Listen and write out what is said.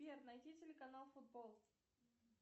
сбер найти телеканал футбол